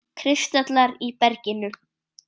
Kristallar í berginu.